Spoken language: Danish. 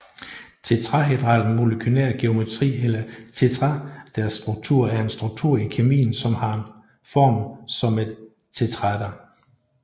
Tetrahedral molekylær geometri eller tetraederstruktur er en struktur i kemien som har form som et tetraeder